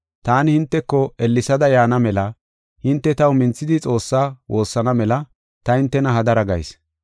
Taani hinteko ellesada yaana mela hinte taw minthidi Xoossaa woossana mela ta hintena hadara gayis.